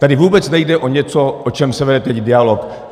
Tady vůbec nejde o něco, o čem se vede teď dialog.